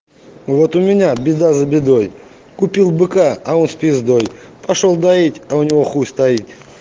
вот у меня беда за бедой купил быка а он с пиздой пошёл доить а у него хуй стоит